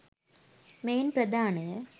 මෙයින් ප්‍රධානය.